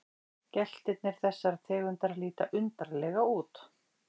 Geltirnir þessarar tegundar líta undarlega út.